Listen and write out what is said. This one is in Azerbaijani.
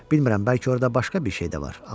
Bilmirəm, bəlkə orda başqa bir şey də var.